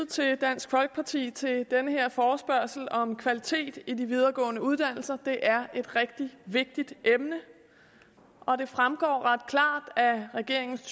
til dansk folkeparti til den her forespørgsel om kvalitet i de videregående uddannelser det er et rigtig vigtigt emne og det fremgår ret klart af regeringens